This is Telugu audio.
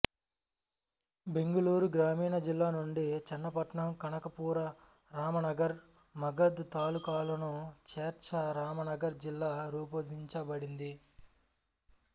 బెంగుళూరు గ్రామీణ జిల్లా నుండి చన్నపట్న కనకపురా రమనగర్ మగద్ తాలూకాలను చేర్చ రామనగర్ జిల్లా రూపొందించబడింది